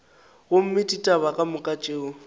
gomme ditaba ka moka tšeo